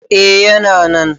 eh yana nan